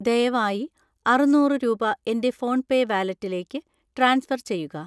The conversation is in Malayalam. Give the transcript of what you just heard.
ദയവായി അറുന്നൂറ് രൂപ എൻ്റെ ഫോൺപേ വാലറ്റിലേക്ക് ട്രാൻസ്ഫർ ചെയ്യുക.